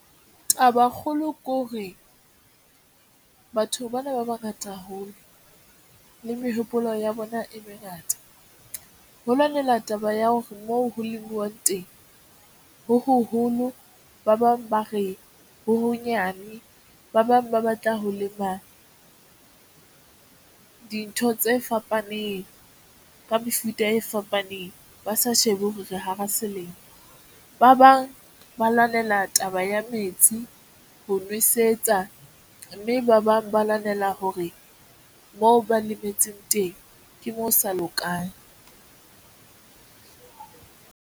Taba e kgolo ke hore batho bana ba bangata haholo le mehopolo ya bona e mengata ho lwanelwa taba ya hore moo ho lemowang teng ho hoholo ba bang ba re ho honyane, ba bang ba batla ho lema dintho tse fapaneng ka mefuta e fapaneng, ba sa shebe hore re hara selemo. Ba bang ba lwanela taba ya metsi ho nwesetsa mme ba bang ba lwanela hore moo ba lemetseng teng ke moo sa lokang.